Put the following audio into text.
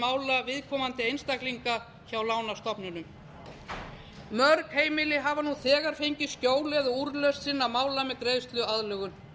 mála viðkomandi einstaklinga hjá lánastofnunum mörg heimili hafa nú þegar fengið skjól eða úrlausn sinna mála með greiðsluaðlögun